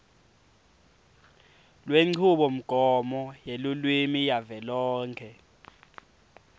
lwenchubomgomo yelulwimi yavelonkhe